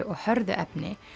og hörðu efni